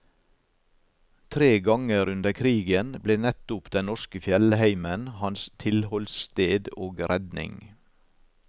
Tre ganger under krigen ble nettopp den norske fjellheimen hans tilholdssted og redning.